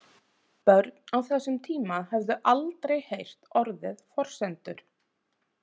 Börn á þessum tíma höfðu aldrei heyrt orðið forsendur.